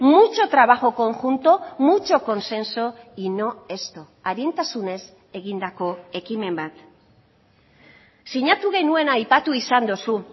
mucho trabajo conjunto mucho consenso y no esto arintasunez egindako ekimen bat sinatu genuena aipatu izan duzu